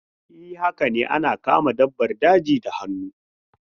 E, haka ne ana kama dabbar daji da hannu.